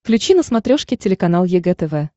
включи на смотрешке телеканал егэ тв